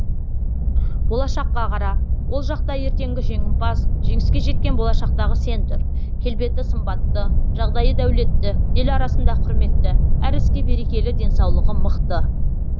болашаққа қара ол жақта ертеңгі жеңімпаз жеңіске жеткен болашақтағы сен тұр келбеті сымбатты жағдайы дәулетті ел арасында құрметті әр іске берекелі денсаулығы мықты